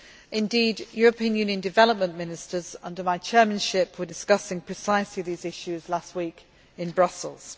Indeed, European Union development ministers under my chairmanship were discussing precisely these issues last week in Brussels.